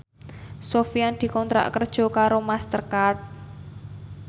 Sofyan dikontrak kerja karo Master Card